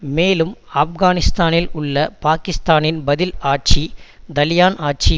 மேலும் ஆப்கானிஸ்தானில் உள்ள பாக்கிஸ்தானின் பதில் ஆட்சி தலிபான்ஆட்சி